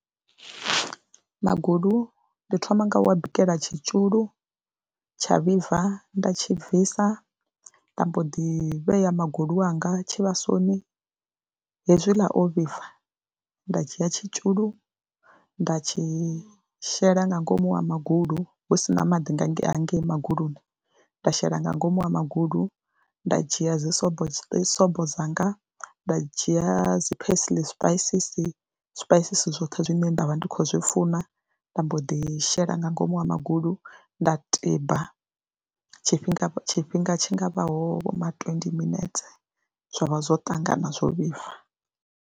Magulu ndi thoma nga u wa bikela tshitzhulu tsha vhibva nda tshi bvisa nda mbo ḓi vhea magulu anga tshivhasoni. Hezwi ḽa o vhibva nda dzhia tshitzhulu nda tshi shela nga ngomu ha magulu hu si na maḓi nga ngei hangei maguluni, nda shela nga ngomu ha magulu nda dzhia dzisobo dzisobo dzanga, nda dzhia dzi parsley spices, zwipaisisi zwoṱhe zwine nda vha ndi khou zwi funa nda mbo ḓi shela nga ngomu ha magulu nda tiba tshifhinga tshifhinga tshi nga vhaho vho ma twendi minetse zwa vha zwo ṱangana zwo vhibva.